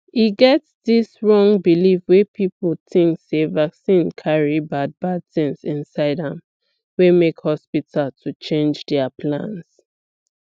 e get dis wrong believe wey people think sey vaccine carry bad bad things inside amwey make hospital to change their plans